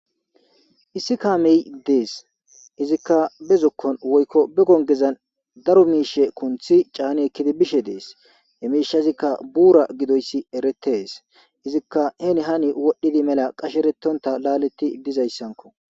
issi kaamey dees izikka be zukkon woykko be gongezan daro miishe kunthi caani ekkidi bishe dees emiishazikka buura gidoyssi eretees izikka heni hani wodhdhidi mela qasheretonta laaletti dizayssanko